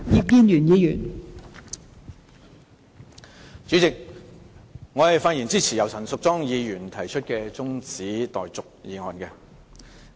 代理主席，我發言支持由陳淑莊議員提出的中止待續議案。